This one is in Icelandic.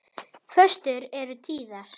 Föstur eru tíðar.